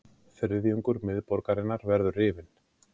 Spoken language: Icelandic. Þriðjungur miðborgarinnar verður rifinn